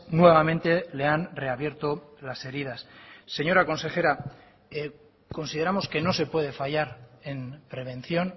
nuevamente le han reabierto las heridas señora consejera consideramos que no se puede fallar en prevención